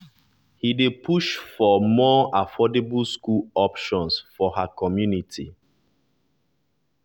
he dey push for push for more affordable school options for her community.